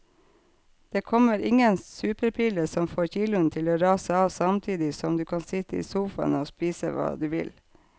Det kommer ingen superpille som får kiloene til å rase av samtidig som du kan sitte i sofaen og spise hva du vil.